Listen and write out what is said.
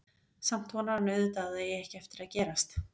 Samt vonar hann auðvitað að það eigi ekki eftir að gerast.